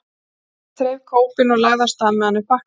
Skapti þreif kópinn og lagði af stað með hann upp bakkann.